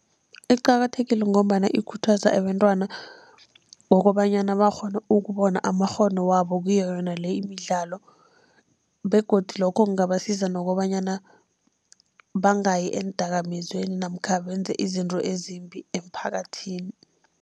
Iqakathekile ngombana ikhuthaza abentwana, ngokobanyana bakghone ukubona amakghono wabo kiyo yona le imidlalo. Begodu lokho kungabasiza nokobanyana bangayi eendakamizweni namkha benze izinto ezimbi emphakathini.